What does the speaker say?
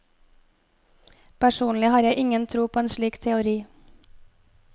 Personlig har jeg ingen tro på en slik teori.